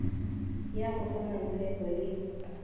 ya go fa mmatshepho le